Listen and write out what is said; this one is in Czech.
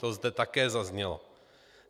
To zde také zaznělo.